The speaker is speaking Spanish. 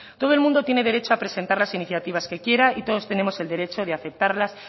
todo el mundo tiene derecho a presentar las iniciativas que quieran y todos tenemos el derecho de aceptarlas